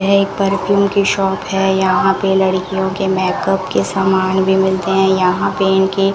यह एक परफ्यूम की शॉप है यहां पे लड़कियों के मेकअप के सामान भी मिलते हैं यहां पे इनके --